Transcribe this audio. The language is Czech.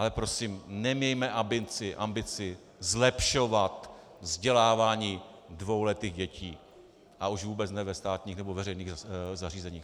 Ale prosím, nemějme ambici zlepšovat vzdělávání dvouletých dětí, a už vůbec ne ve státních nebo veřejných zařízeních.